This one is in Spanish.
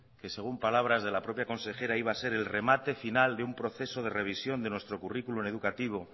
que según palabras de la propia consejera iba a ser el remate final de un proceso de revisión de nuestro currículum educativo